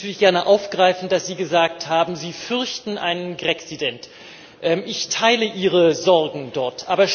Ich wollte das natürlich gerne aufgreifen, dass Sie gesagt haben, Sie fürchten einen Graccident. Ich teile Ihre Sorgen dort.